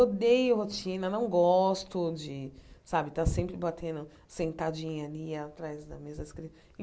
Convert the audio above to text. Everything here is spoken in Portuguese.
Odeio rotina, não gosto de, sabe, estar sempre batendo, sentadinha ali atrás da mesa